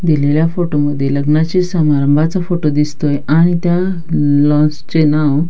दिलेल्या फोटो मध्ये लग्नाचे संभारंभाचा फोटो दिसतोय आणि त्या लॉन्स चे नाव--